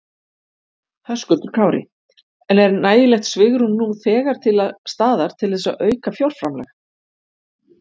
Höskuldur Kári: En er nægilegt svigrúm nú þegar til staðar til þess að auka fjárframlag?